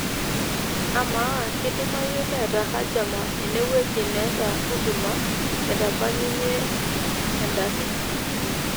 amaa kidimayu neeta hjama ene wueji neeta huduma naitabayunye endaki